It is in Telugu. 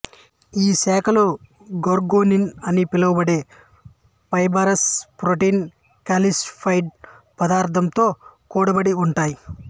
ఈ శాఖలు గోర్గోనిన్ అని పిలువబడే ఫైబరస్ ప్రోటీన్ కాల్సిఫైడ్ పదార్థంతో కూడి ఉంటాయి